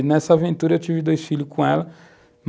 E, nessa aventura, eu tive dois filhos com ela.